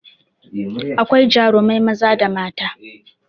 Akwai jarumai maza da mata